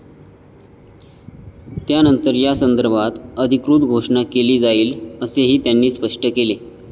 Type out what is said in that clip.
त्यानंतर यासंदर्भात अधिकृत घोषणा केली जाईल, असेही त्यांनी स्पष्ट केले.